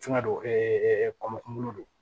Fɛngɛ don kɔmɔ kunkolo don